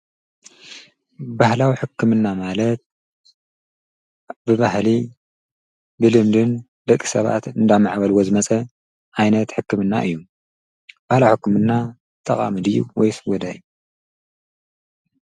ባህላዊ ሕክምና ማለት ብባህሊ ብልምድን ልቂ ሰባት እንዳማዕበለዎ ዝመጸ ዓይነት ሕክምና እዩ፡፡ ብል ሕሕምና ጠቓሚ ድዩስ ወይስ ጐዳኢ?